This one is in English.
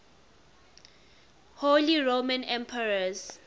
holy roman emperors